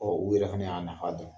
o yɛrɛ fana y'a nafa dɔ ye.